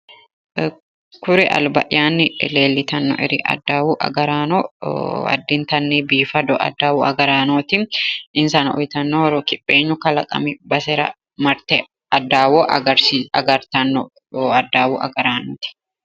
Kuri alba'yaanni leellitanno"eri adawu agaraano addintanni biifado adawu agaraanooti insano uyiitanno horo kipheenyu kalaqami basera marte adawa agartanno adawu agaranooti.